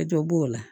E to b'o la